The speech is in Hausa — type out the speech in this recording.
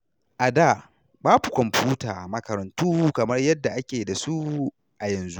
A da, babu kwamfuta a makarantu kamar yadda ake da su a yanzu.